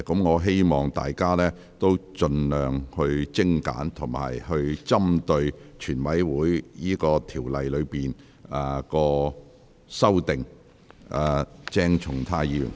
我希望委員發言時盡量精簡，並針對《條例草案》的條文及修正案發言。